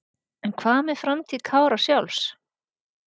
En hvað með framtíð Kára sjálfs?